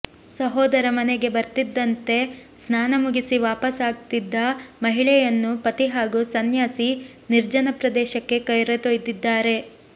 ಸಹೋದರ ಮನೆಗೆ ಬರ್ತಿದ್ದಂತೆ ಸ್ನಾನ ಮುಗಿಸಿ ವಾಪಸ್ ಆಗ್ತಿದ್ದ ಮಹಿಳೆಯನ್ನು ಪತಿ ಹಾಗೂ ಸನ್ಯಾಸಿ ನಿರ್ಜನ ಪ್ರದೇಶಕ್ಕೆ ಕರೆದೊಯ್ದಿದ್ದಾರೆ